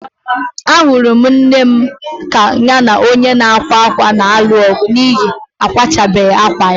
Ahụrụ m nne m ka ya na onye na-akwa akwa na-alụ ọgụ n'ihi na kwachabeghi akwa ya.